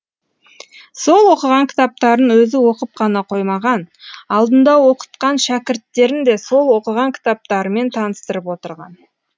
сол оқыған кітаптарын өзі оқып қана қоймаған алдында оқытқан шәкірттерін де сол оқыған кітаптарымен таныстырып отырған